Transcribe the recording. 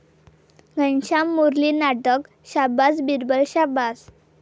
घनश्याम मुरली नाटक शाबास बिरबल शाबास